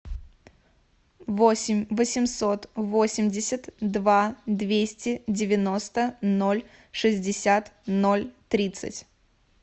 восемь восемьсот восемьдесят два двести девяносто ноль шестьдесят ноль тридцать